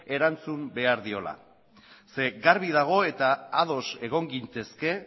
erantzun behar diola zeren garbi dago eta ados egon gintezke